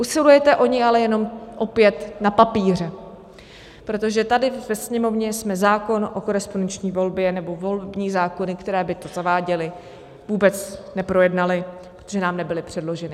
Usilujete o ni, ale jenom opět na papíře, protože tady ve Sněmovně jsme zákon o korespondenční volbě nebo volební zákony, které by to zaváděly, vůbec neprojednali, protože nám nebyly předloženy.